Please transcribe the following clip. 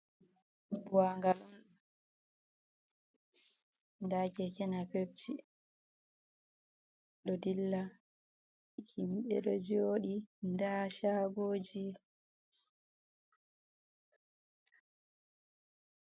Buwagal on da kekenapeji do dilla, himbe dojodi da shagoji.